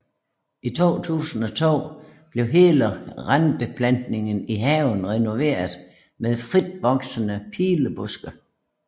I 2002 blev hele randbeplantninger i haven renoveret med fritvoksende pilebuske